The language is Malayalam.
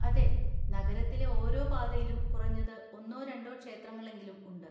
അതെ. നഗരത്തിലെ ഓരോ പാതയിലും കുറഞ്ഞത് ഒന്നോ രണ്ടോ ക്ഷേത്രങ്ങളെങ്കിലും ഉണ്ട്.